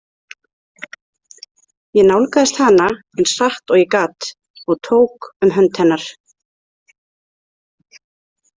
Ég nálgaðist hana eins hratt og ég gat og tók um hönd hennar.